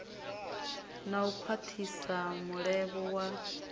na u khwathisa mulevho wa